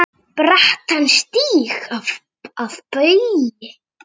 brattan stíg að baugi